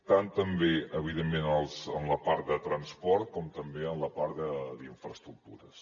tant també evidentment en la part de transport com també en la part d’infraestructures